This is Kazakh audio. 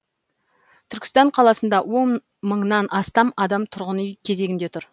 түркістан қаласында он мыңнан астам адам тұрғын үй кезегінде тұр